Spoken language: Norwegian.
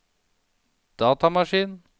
datamaskin